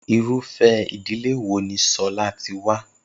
Irúfé̩ ìdílé wo ni S̩o̩lá ti wá?